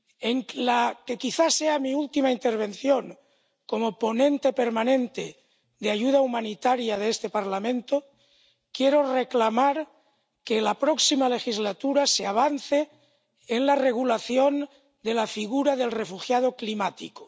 En la que quizá sea mi última intervención como ponente permanente de ayuda humanitaria de este Parlamento quiero reclamar que en la próxima legislatura se avance en la regulación de la figura del refugiado climático.